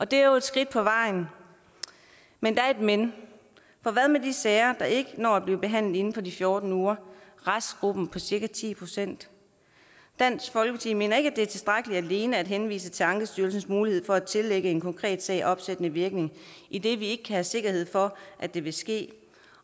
det er et skridt på vejen men der er et men for hvad med de sager der ikke når at blive behandlet inden for de fjorten uger restgruppen på cirka ti procent dansk folkeparti mener ikke at det er tilstrækkeligt alene at henvise til ankestyrelsens mulighed for at tillægge en konkret sag opsættende virkning idet vi ikke har sikkerhed for at det vil ske